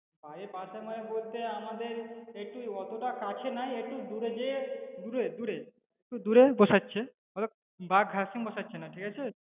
বাড়ির পাশে মানে বলতে আমাদের একটু অতটা কাছে নয় একটু দূরে যেয়ে দূরে দূরে একটু দূরে বসাচ্ছে তবে বাড়ির ধরে বসাচ্ছে না ঠিক আছে?